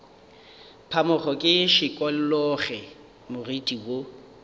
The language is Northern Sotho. phamoge ke šikologe moriti wo